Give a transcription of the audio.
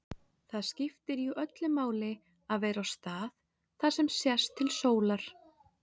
Það skiptir jú öllu máli að vera á stað þar sem sést til sólar.